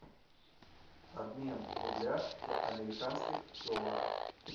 обмен рубля в американских долларах